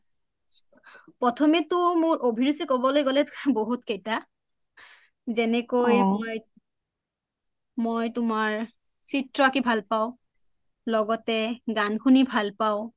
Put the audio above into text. প্ৰথমেটো মোৰ অভিৰুচি বুলি কবলৈ গলে বহুত কেইটা যেনেকৈ মই তোমাৰ চিএ আকি ভাল পাও লগত গান শুনি ভাল পাও